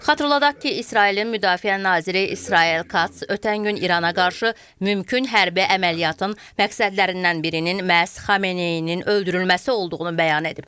Xatırladaq ki, İsrailin müdafiə naziri İsrail Katz ötən gün İrana qarşı mümkün hərbi əməliyyatın məqsədlərindən birinin məhz Xamneyinin öldürülməsi olduğunu bəyan edib.